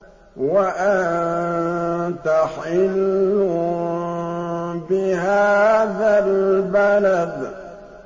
وَأَنتَ حِلٌّ بِهَٰذَا الْبَلَدِ